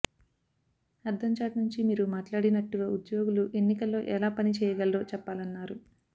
అద్దం చాటు నుంచి మీరు మాట్లాడినట్టుగా ఉద్యోగులు ఎన్నికల్లో ఎలా పని చేయగలరో చెప్పాలన్నారు